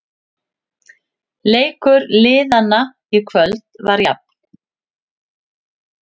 Leikur liðanna í kvöld var jafn